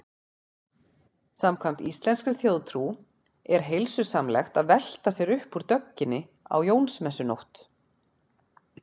Samkvæmt íslenskri þjóðtrú er heilsusamlegt að velta sér upp úr dögginni á Jónsmessunótt.